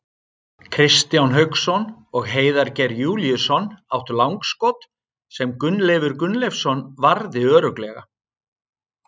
Kristján Hauksson og Heiðar Geir Júlíusson áttu langskot, sem Gunnleifur Gunnleifsson varði örugglega.